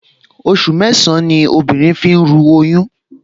Oṣù mẹ́sàn-án ní obìnrin fi ń ru oyún